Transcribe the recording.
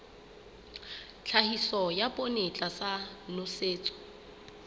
tlhahiso ya poone tlasa nosetso